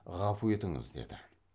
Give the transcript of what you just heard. ғафу етіңіз деді